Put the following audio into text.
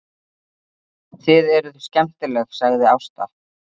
Þið eruð skemmtileg, sagði Ásta.